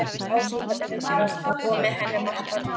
Ásgerði Bjarnardóttur og með henni margt barna.